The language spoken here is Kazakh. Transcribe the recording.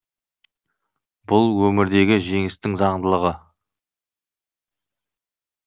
бұл өмірдегі жеңістің заңдылығы